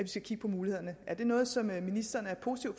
skal kigge på mulighederne er det noget som ministeren er positiv